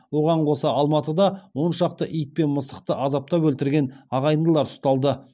оған қоса алматыда он шақты ит пен мысықты азаптап өлтірген ағайындылар ұсталды